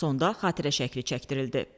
Sonda xatirə şəkli çəkdirildi.